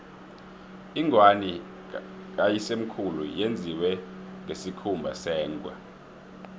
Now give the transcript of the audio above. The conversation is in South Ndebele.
ingwani kayisemkhulu yenziwe ngesikhumba sengwe